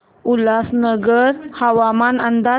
उल्हासनगर हवामान अंदाज